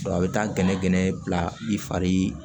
a bɛ taa gɛnɛgɛnɛ bila i fari